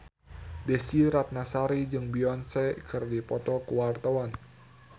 Desy Ratnasari jeung Beyonce keur dipoto ku wartawan